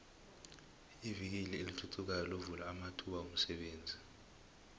ivikili elithuthukayo lovula amathuba womsebenzi